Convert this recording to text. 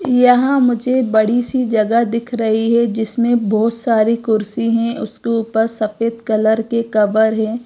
यहां मुझे बड़ी सी जगह दिख रही है जिसमें बहोत सारी कुर्सी हैं उसके ऊपर सफेद कलर के कवर हैं।